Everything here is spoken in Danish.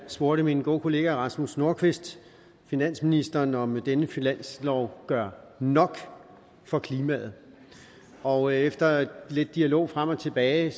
spurgte min gode kollega herre rasmus nordqvist finansministeren om denne finanslov gør nok for klimaet og efter lidt dialog frem og tilbage